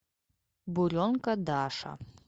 буренка даша